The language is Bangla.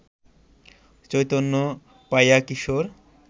চৈতন্য পাইয়া কিশোর